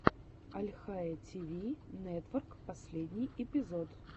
альхайя ти ви нетворк последний эпизод